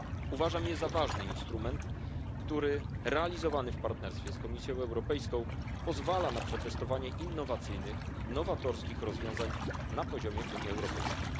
Uważam je za ważny instrument, który realizowany w partnerstwie z Komisją Europejską pozwala na przetestowanie innowacyjnych i nowatorskich rozwiązań na poziomie Unii Europejskiej.